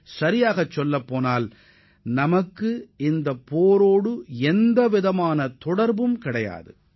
உண்மையில் சொல்ல வேண்டுமென்றால் நமக்கு அந்த போருடன் நேரடித் தொடர்பு கிடையாது